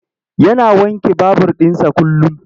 Yana wanke babur ɗinsa kullum.